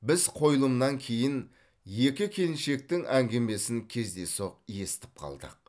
біз қойылымнан кейін екі келіншектің әңгімесін кездейсоқ естіп қалдық